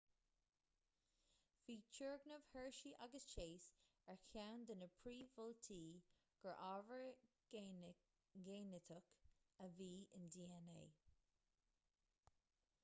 bhí turgnamh hershey agus chase ar cheann de na príomh-mholtaí gur ábhar géiniteach a bhí in dna